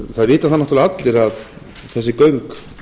það vita það náttúrlega allir að þessi göng